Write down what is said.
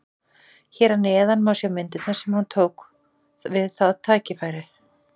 Hér að neðan má sjá myndirnar sem hann tók við það tækifæri.